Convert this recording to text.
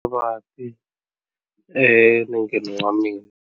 Xivati enengeni wa mina.